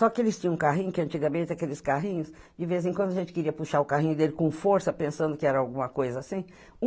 Só que eles tinham um carrinho, que antigamente aqueles carrinhos, de vez em quando a gente queria puxar o carrinho dele com força, pensando que era alguma coisa assim.